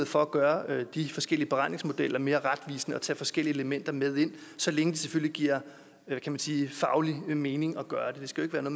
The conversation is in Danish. for at gøre de forskellige beregningsmodeller mere retvisende og tage forskellige elementer med ind så længe det selvfølgelig giver faglig mening at gøre det det skal jo